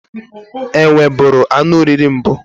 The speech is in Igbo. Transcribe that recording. Enwe bụrụ anụ oriri mbụ.